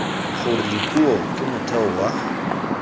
gore dipuo ke motheo wa